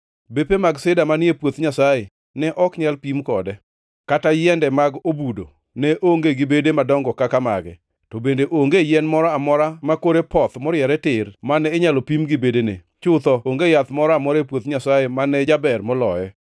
Bepe mag sida manie puoth Nyasaye ne ok nyal pim kode, kata yiende mag obudo, ne onge gi bede madongo kaka mage; to bende onge yien moro amora makore poth moriere tir mane inyalo pim gi bedene, chutho, onge yath moro amora e puoth Nyasaye mane jaber moloye.